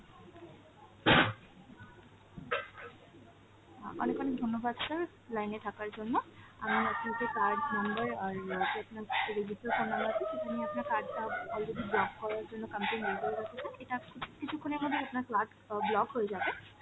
অ্যাঁ অনেক অনেক ধন্যবাদ sir line এ থাকার জন্য, আমি আপনাকে card number আর register phone number টা সেখানে আপনার card টা already block করার জন্য complain , এটা কি~ কিছুক্ষণের মধ্যেই আপনার card অ্যাঁ block হয়ে যাবে,